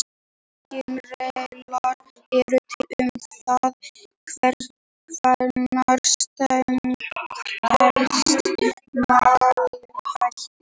Engin regla er til um það hvenær setning telst málsháttur.